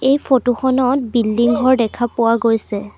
এই ফটো খনত বিল্ডিং ঘৰ দেখা পোৱা গৈছে।